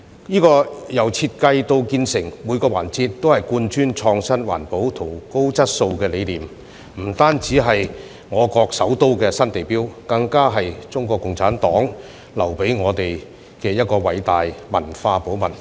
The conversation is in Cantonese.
這個展覽館由設計到建成，每個環節都貫穿創新、環保和高質素的理念，不止是我國首都的新地標，更是中國共產黨留給我們的偉大文化寶物。